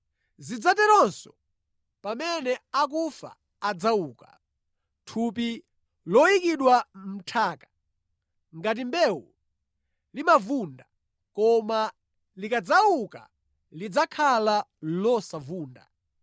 Zidzaterenso pamene akufa adzauka. Thupi loyikidwa mʼnthaka ngati mbewu limavunda, koma likadzauka lidzakhala losavunda.